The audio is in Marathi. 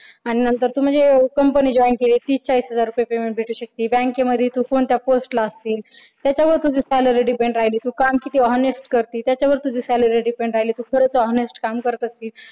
आणि नंतर म्हणजे तू कंपनी join केलीस की तुला तीस-चाळीस हजार रुपये payment मिळू शकत. bank मध्ये तू कोणत्या post ला असशील त्याच्यावर तुझी salary depend राहील तू काम किती honest करते त्याच्यावर तुझी salary depend राहील honest काम करत असशील.